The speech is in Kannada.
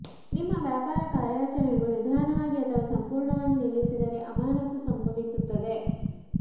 ನಿಮ್ಮ ವ್ಯಾಪಾರ ಕಾರ್ಯಾಚರಣೆಗಳು ನಿಧಾನವಾಗಿ ಅಥವಾ ಸಂಪೂರ್ಣವಾಗಿ ನಿಲ್ಲಿಸಿದರೆ ಅಮಾನತು ಸಂಭವಿಸುತ್ತದೆ